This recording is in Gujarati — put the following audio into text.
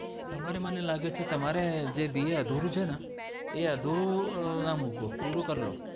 તમારે મને લાગે છે જે BA અધૂરું છેને એ અધૂરું ના મૂકો પૂરું કર લો.